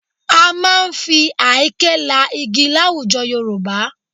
A máa ń fi àáké la igi láwùjọ Yorùbá